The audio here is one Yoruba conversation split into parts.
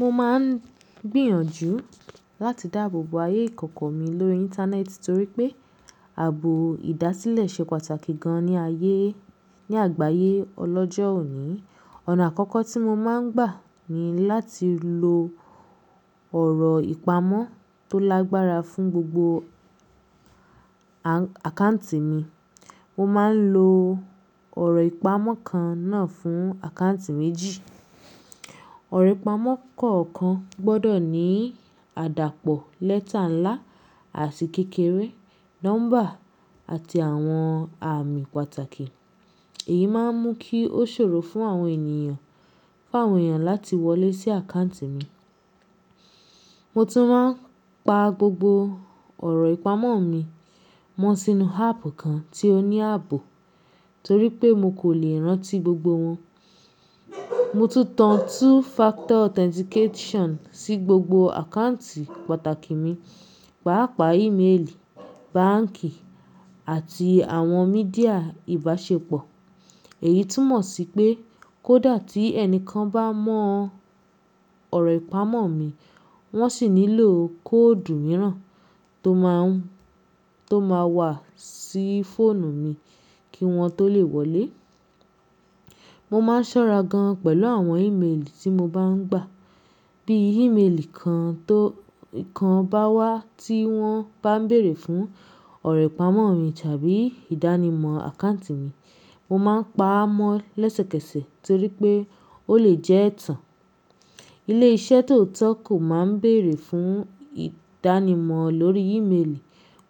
Mo máa ń gbìyànjú láti dáàbò bo ayé ìkòkò mi lórí Íńtánẹ́ẹ̀tì torí pé ààbò ìdásílẹ̀ ṣe pàtàkì gan-an ni àyé ní àgbáyé ọlọ́jọ́ òní. Ọ̀nà àkọ́kọ́ tí mo máa ń gbà ni láti lo ọ̀rọ̀ ìpamọ́ tó lágbára fún gbogbo àkáǹtì mi. Mo máa ń lo ọ̀rọ̀ ìpamọ́ kan náà fún àkáǹtì méjì. Ọ̀rọ̀ ìpamọ́ kọ̀ọ̀kan gbọdọ̀ ní àdàpọ̀ lẹ́tà ńlá àti kékeré, nọ́mbà àti àwọn ààmì pàtàkì. Èyí máa ń mú kí ó ṣòro fún àwọn ènìyàn fáwọn èèyàn láti wọlé sí àkáǹtì mi. Mo tún máa ń pa gbogbo ọ̀rọ̀ ìpamọ́ mi mọ́ sínú áàpù kan tí ó ní ààbò torí pé mo kò lè rántí gbogbo wọn. Mo tún tan two-factor authentication sí gbogbo àkáǹtì pàtàkì mi, pàápàá íméèlì, báǹkì àti àwọn mídíà ìbáṣepọ̀. Èyí túmọ̀ sí pé kó dà tí ẹnìkan bá mọ ọ̀rọ̀ ìpamọ́ mi, wọ́n sì nílò kóòdù mìíràn tó máa wà sí fóònù mi kí wọ́n tó lè wọlé. Mo máa ń ṣọ́ra gan-an pẹ̀lú àwọn íméèlì tí mo bá ń gbà. Bí íméèlì kan bá wá tí wọ́n bá ń bèrè fún ọ̀rọ̀ ìpamọ́ mi tàbí ìdánimọ̀ àkáǹtì mi, mo máa ń pa á mọ́ lẹ́sẹ̀kẹsẹ̀ torí pé ó lè jẹ́ ẹ̀tàn. Ilé-iṣẹ́ tó tọ́ kò máa ń bèrè fún ìdánimọ̀ lórí íméèlì.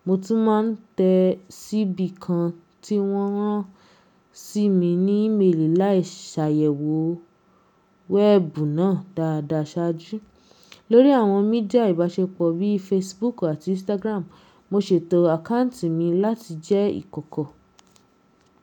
Mo tún máa ń tẹ síbí kan tí wọ́n rán sí mi ní íméèlì láìṣe àyẹ̀wò wẹ́ẹ̀bù náà dáadáa ṣáájú. Lórí àwọn mídíà ìbáṣepọ̀ bí i Facebook àti Instagram, mo ṣètò àkáǹtì mi láti jẹ́ ìkòkò.